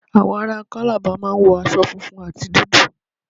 Àwọn aráa Calabar máa ń wọ aṣo funfun àti dúdú.